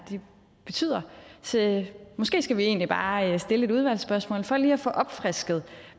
betyder så måske skal vi egentlig bare stille et udvalgsspørgsmål for lige at få opfrisket